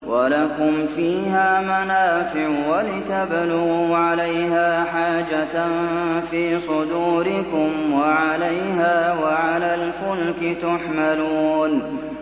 وَلَكُمْ فِيهَا مَنَافِعُ وَلِتَبْلُغُوا عَلَيْهَا حَاجَةً فِي صُدُورِكُمْ وَعَلَيْهَا وَعَلَى الْفُلْكِ تُحْمَلُونَ